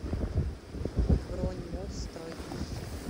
бронь моллстрой